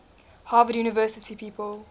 harvard university people